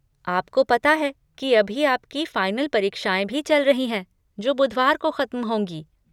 आपको पता है कि अभी आपकी फ़ाइनल परीक्षाएँ भी चल रही हैं जो बुधवार को ख़त्म होंगी।